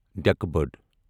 ڈیٚکہٕ بٔڈ